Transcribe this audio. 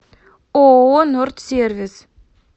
ооо нордсервис